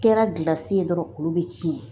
Kɛra gilasi ye dɔrɔn olu be cɛn